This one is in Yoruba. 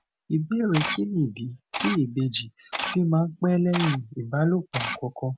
ìbéèrè kí nìdí tí ìbejì fi máa ń pé léyìn ìbálòpò àkókó